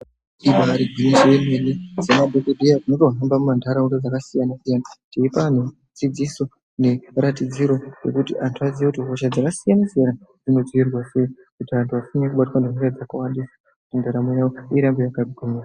Ibari gwinyiso yemene semadhokodheya tinotohamba muntaraunda dzakasiyana siyana teipa antu dzidziso neratidziro yekuti antu aziye kuti hosha dzakasiyana siyana dzinodzivirirwa sei kuti antu asanyanya kubatwa ngehosha dzakasiyana siyana ndaramo yawo irambe yakagwinya.